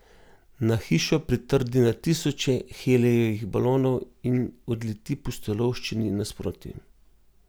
Na hišo pritrdi na tisoče helijevih balonov in odleti pustolovščini nasproti.